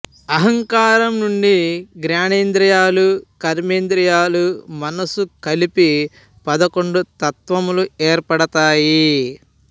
అహంకారం నుండి జ్ఞానేంద్రియాలు కర్మేంద్రియాలు మనస్సు కలిపి పదకొండు తత్వములు ఏర్పడతాయి